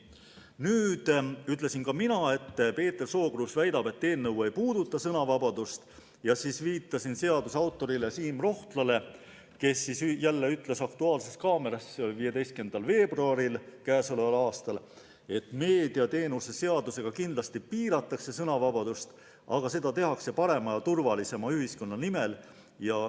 Nüüd ütlesin ka mina, et Peeter Sookruus väidab, et eelnõu ei puuduta sõnavabadust, ja viitasin selle autorile Siim Rohtlale, kes oli "Aktuaalses kaameras" k.a 15. veebruaril öelnud, et meediateenuste seadusega kindlasti piiratakse sõnavabadust, aga seda tehakse parema ja turvalisema ühiskonna nimel.